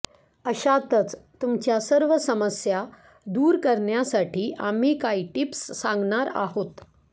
अशातच तुमच्या सर्व समस्या दूर करण्यासाठी आम्ही काही टिप्स सांगणार आहोत